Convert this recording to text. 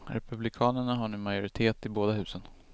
Republikanerna har nu majoritet i båda husen.